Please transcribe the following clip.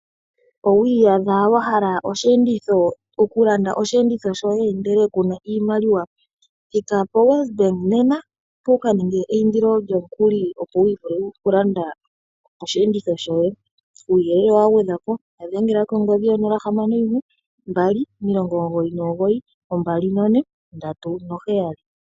Owi iyadha wa hala osheenditho, oku landa osheenditho shoye ndele kuna iimaliwa, thika poWesBank nena, wuka ninge eindilo lyomukuli opo wu vule oku landa osheenditho shoye, kuuyelele wa gwedhwa po, ya dhengela kongodhi 0612992437.